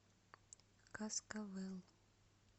каскавел